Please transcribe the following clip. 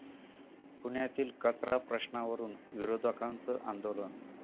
पुण्यातील कचरा प्रश्नावरून विरोधकांचं आंदोलन